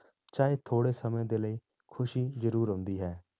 ਚਾਹੇ ਥੋੜ੍ਹੇ ਸਮੇਂ ਦੇ ਲਈ ਖ਼ੁਸ਼ੀ ਜ਼ਰੂਰ ਆਉਂਦੀ ਹੈ।